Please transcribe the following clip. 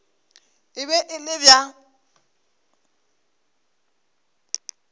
e be e le bja